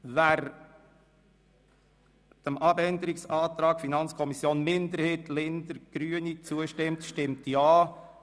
Wer den Abänderungsantrag 1 FiKo-Minderheit und Linder/Grüne zustimmt, stimmt Ja,